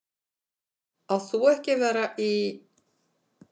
Átt þú ekki að vera í.-?